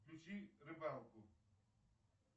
включи рыбалку